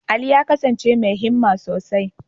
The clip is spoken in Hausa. Ali ya kasance mai himma sosai.